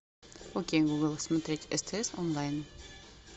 окей гугл смотреть стс онлайн